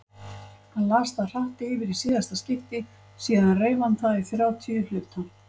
Hann las það hratt yfir í síðasta skipti, síðan reif hann það í þrjátíu hluta.